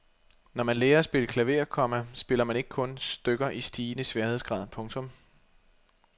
Når man lærer at spille klaver, komma spiller man ikke kun stykker i stigende sværhedsgrad. punktum